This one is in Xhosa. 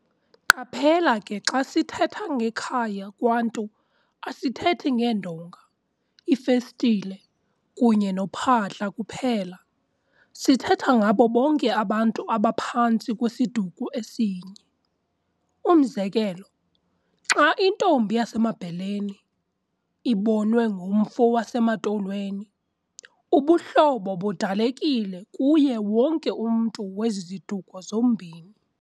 Qaphela ke xa sithetha ngekhaya kwaNtu asithethi ngeendonga, iifestile kunye nophahla kuphela, sithetha ngabo bonke abantu abaphantsi kwesiduko esinye. Umzekelo xa intombi yasemaBheleni ibonwe ngumfo wasemaTolweni, ubuhlobo budalekile kuye wonke umntu wezi ziduko zombini.